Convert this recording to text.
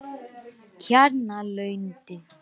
Kjarnalundi